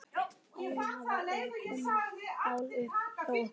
Elín, hafa, eru, koma svona mál upp hjá ykkur?